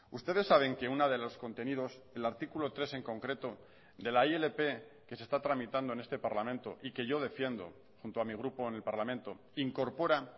ustedes saben que uno de los contenidos el artículo tres en concreto de la ilp que se está tramitando en este parlamento y que yo defiendo junto a mi grupo en el parlamento incorpora